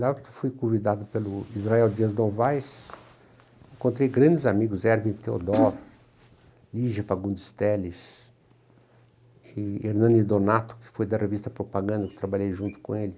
Lá eu fui convidado pelo Israel Dias Novais, encontrei grandes amigos, Erwin Theodor, Ligia Fagundos Teles, e Hernani Donato, que foi da revista Propaganda, que trabalhei junto com ele.